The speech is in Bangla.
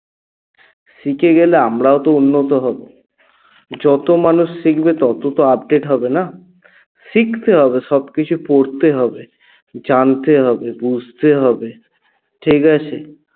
শিখে গেলে আমরাও তো উন্নত হব যত মানুষ শিখবে তত তো update হবে না? শিখতে হবে সবকিছু পড়তে হবে জানতে হবে বুঝতে হবে ঠিকাছে?